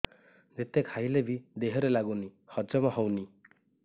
ଯେତେ ଖାଇଲେ ବି ଦେହରେ ଲାଗୁନି ହଜମ ହଉନି